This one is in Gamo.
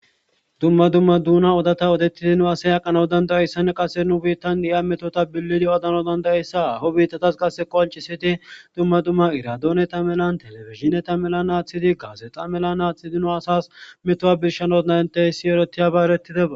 Dumma dumma dona odata odetid nu asay aqana danda'izaysa qase nu biitan de'iya Metota bilid odanaw danda'aysa haho bitatas qoncisid dumma dumma iradoneta malan telebizdineta malan athid gazexa mala athid nu asas metuwa birshanas danda'zaysa erises.